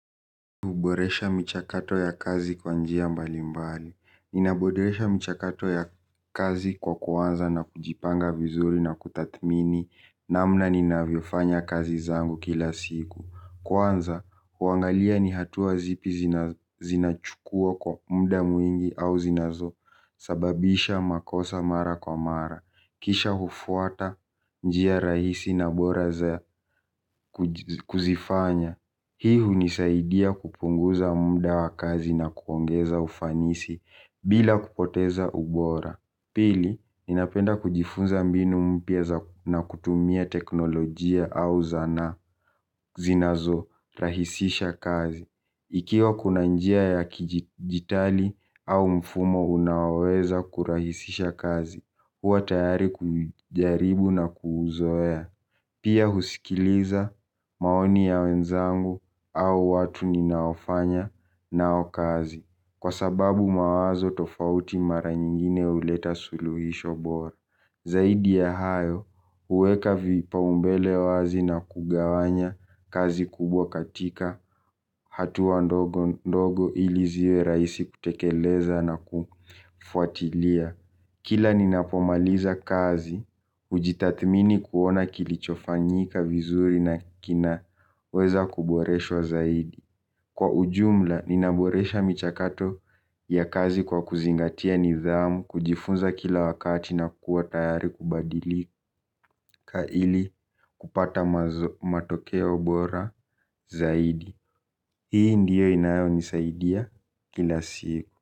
Huboresha michakato ya kazi kwa njia mbali mbali. Ninaboresha mchakato ya kazi kwa kuanza na kujipanga vizuri na kutathmini. Namna ninavyofanya kazi zangu kila siku. Kwanza, kuangalia ni hatua zipi zinachukua kwa muda mwingi au zinazo sababisha makosa mara kwa mara. Kisha hufuata njia rahisi na bora za kuzifanya. Hii hunisaidia kupunguza muda wa kazi na kuongeza ufanisi bila kupoteza ubora. Pili, ninapenda kujifunza mbinu mpya na kutumia teknolojia au zana zinazorahisisha kazi. Ikiwa kuna njia ya kidijitali au mfumo unaoweza kurahisisha kazi. Huwa tayari kuijaribu na kuzoea. Pia husikiliza maoni ya wenzangu au watu ninaofanya nao kazi. Kwa sababu mawazo tofauti mara nyingine huleta suluhisho bora. Zaidi ya hayo uweka vipaumbele wazi na kugawanya kazi kubwa katika hatua ndogo ndogo ili ziwe rahisi kutekeleza na kufuatilia. Kila ninapomaliza kazi, ujitathmini kuona kilichofanyika vizuri na kinaweza kuboreshwa zaidi. Kwa ujumla, ninaboresha michakato ya kazi kwa kuzingatia nidhamu, kujifunza kila wakati na kuwa tayari kubadilika ili kupata matokeo bora zaidi. Hii ndiyo inayonisaidia kila siku.